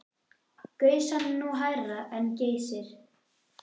Gaus hann nú hærra en Geysir.